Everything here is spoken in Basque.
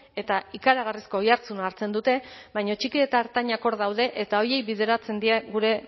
eta ikaragarrizko oihartzuna hartzen dute baina txiki eta ertainak hor daude eta horiei bideratzen dira gure